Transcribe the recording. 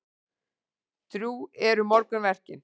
Drjúg eru morgunverkin.